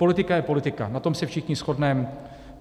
Politika je politika, na tom se všichni shodneme.